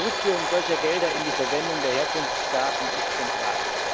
Die Rückführung solcher Gelder in die Verwendung der Herkunftsstaaten ist zentral.